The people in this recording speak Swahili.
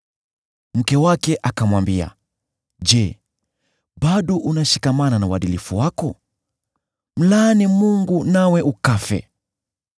Mke wake akamwambia, “Je, bado unashikamana na uadilifu wako? Mlaani Mungu nawe ukafe!”